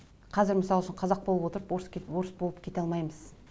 қазір мысал үшін қазақ болып отырып орыс келіп орыс болып кете алмаймыз